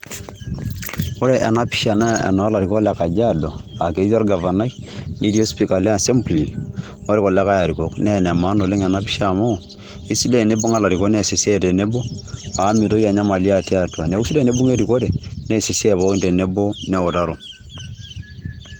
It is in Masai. Ore ena pisha naa enoo larikok le Kajiado, ake tii orgavanai, netii ospika le assembli orkulikai arikok. Nee ene maana ena pisha amu esidai enibung'a larikok nees esiai tenebo amu mitoki enyamali atii atua, neeku sidai enibung'a erikore nees esiai pookin tenebo neutaro.